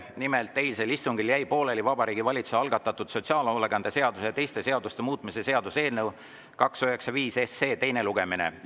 Nimelt, eilsel istungil jäi pooleli Vabariigi Valitsuse algatatud sotsiaalhoolekande seaduse ja teiste seaduste muutmise seaduse eelnõu 295 teine lugemine.